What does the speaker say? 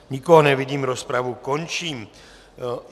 Nikoho nevidím, rozpravu končím.